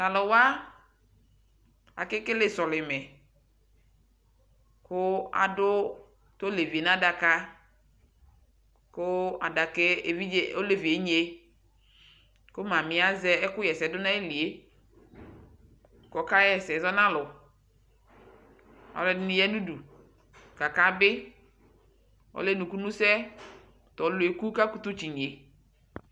Talu wa kɛkele sɔlimɛ Ku adu ɔlɛvi na dakaKu ɔlɛvi yɛ nye Ku mami yɛ azɛ ɛku ɣɛ sɛ du na yi li yɛ kɔka ɣɛ sɛ zɔ nalu Ɔlɔdini ya nu du kaka biƆlɛ nuku nu sɛTɔli yɛ ku ka kutu si nye